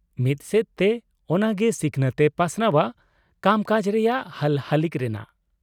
ᱢᱤᱫ ᱥᱮᱫ ᱛᱮ ᱚᱱᱟ ᱜᱮ ᱥᱤᱠᱷᱱᱟᱹᱛ ᱮ ᱯᱟᱥᱱᱟᱣᱟ ᱠᱟᱢᱠᱟᱡᱽ ᱨᱮᱱᱟᱜ ᱦᱟᱞᱦᱟᱹᱞᱤᱠ ᱨᱮᱱᱟᱜ ᱾